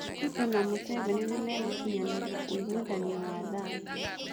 Rũto na Mũseveni nĩmegũkinyanĩria ũiguithanio wa thayũ.